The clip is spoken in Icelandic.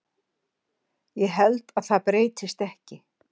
Ég held að það breytist ekki.